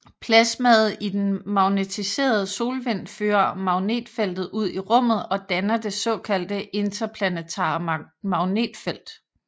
Plasmaet i den magnetiserede solvind fører magnetfeltet ud i rummet og danner det såkaldte interplanetare magnetfelt